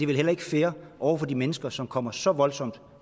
vel heller ikke fair over for de mennesker som kommer så voldsomt